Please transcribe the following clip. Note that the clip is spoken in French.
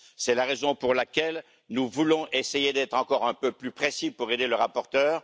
C'est la raison pour laquelle nous voulons essayer d'être encore un peu plus précis pour aider le rapporteur.